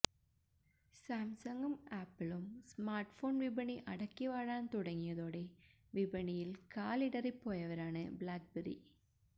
സാംസംഗും ആപ്പിളും സ്മാര്ട്ഫോണ് വിപണി അടക്കി വാഴാന് തുടങ്ങിയതോടെ വിപണിയില് കാലിടറിപ്പോയവരാണ് ബ്ലാക്ക്ബെറി